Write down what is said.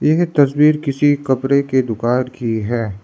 यह तस्वीर किसी कपरे के दुकान की है।